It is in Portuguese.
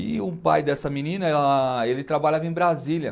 E o pai dessa menina, ela ele trabalhava em Brasília.